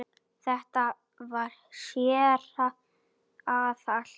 Þetta var séra Aðal